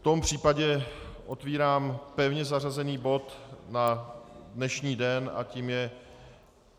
V tom případě otvírám pevně zařazený bod na dnešní den a tím je